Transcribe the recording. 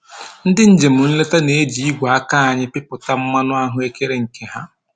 Ndị njem nleta na-eji igwe aka anyị pịpụta mmanụ ahụekere nke ha